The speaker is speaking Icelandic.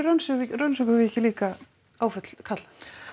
rannsökum við ekki líka áföll karla